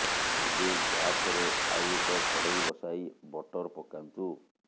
ଏବେ ଗ୍ୟାସରେ ଆଉ ଏକ କଡ଼େଇ ବସାଇ ବଟର ପକାନ୍ତୁ